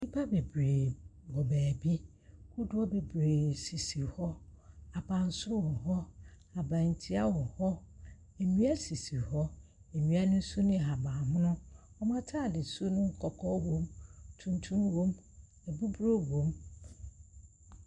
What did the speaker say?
Nnipa bebree wɔ baabi, kodoɔ bebree sisi hɔ, abansoro wɔ hɔ, aban tia wɔ hɔ, nnua sisi hɔ, nnua no nso ne nhabanmono. Ɔmo ntaade su no kɔkɔɔ wɔm, tunutum wɔm, abuburo wɔm.